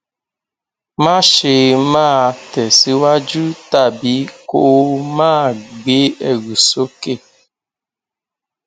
má ṣe máa tẹsíwájú tàbí kó o máa gbé ẹrù sókè